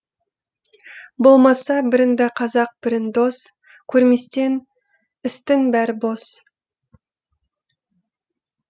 болмаса біріңді қазақ бірің дос көрмесең істің бәрі бос